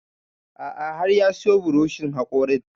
A'a har ya siyo buroshin haƙorin